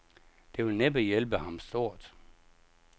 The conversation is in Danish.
Det vil næppe hjælpe ham stort.